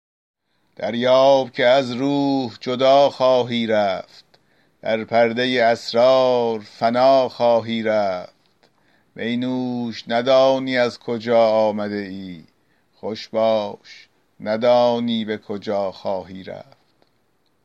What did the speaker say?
دریاب که از روح جدا خواهی رفت در پرده اسرار فنا خواهی رفت می نوش ندانی از کجا آمده ای خوش باش ندانی به کجا خواهی رفت